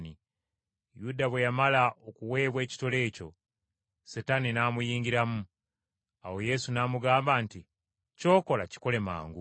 Yuda bwe yamala okuweebwa ekitole ekyo, Setaani n’amuyingiramu. Awo Yesu n’amugamba nti, “Ky’okola kikole mangu!”